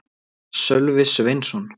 Sölvi Sveinsson.